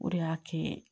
O de y'a kɛ